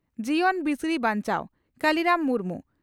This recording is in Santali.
ᱡᱤᱭᱚᱱ ᱵᱤᱥᱲᱤ ᱵᱟᱧᱪᱟᱣ (ᱠᱟᱞᱤᱨᱟᱢ ᱢᱩᱨᱢᱩ)